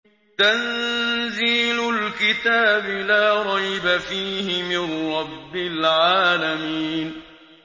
تَنزِيلُ الْكِتَابِ لَا رَيْبَ فِيهِ مِن رَّبِّ الْعَالَمِينَ